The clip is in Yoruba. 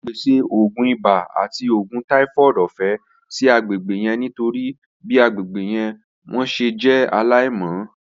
A pese oogun ibà ati oògùn typhoid ọfẹ si agbegbe yẹn nitori bi agbegbe wọn ṣe jẹ alaimọ.